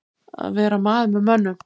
Að vera maður með mönnum